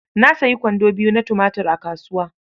Na sayi kwando biyu na tumatur a kasuwa.